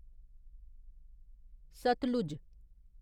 Sutlej